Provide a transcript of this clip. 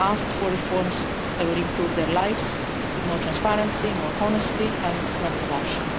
They have asked for reforms that would improve their lives, with more transparency, more honesty and no corruption.